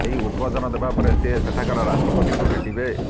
ଏହି ଉଦବୋଧିନ ଦେବା ପରେ ସେ ସେଠାକାର ରାଷ୍ଟ୍ରପତିଙ୍କୁ ଭେଟିବେ